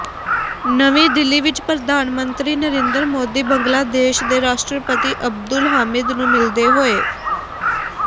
ਨਵੀਂ ਦਿੱਲੀ ਵਿੱਚ ਪ੍ਰਧਾਨ ਮੰਤਰੀ ਨਰਿੰਦਰ ਮੋਦੀ ਬੰਗਲਾਦੇਸ਼ ਦੇ ਰਾਸ਼ਟਰਪਤੀ ਅਬਦੁਲ ਹਾਮਿਦ ਨੂੰ ਮਿਲਦੇ ਹੋਏ